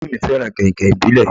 Ìyá mí fẹràn kàìnkàìn ìbílẹ̀.